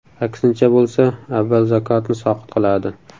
Aksincha bo‘lsa, avval zakotni soqit qiladi.